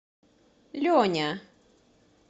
леня